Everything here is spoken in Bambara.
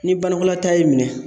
Ni banakɔla ta y'i minɛ